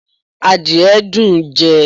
Àdìye dùn ún jẹ